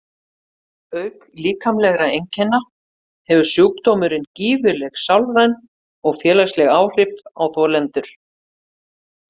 Auk líkamlegra einkenna hefur sjúkdómurinn gífurleg sálræn og félagsleg áhrif á þolendur.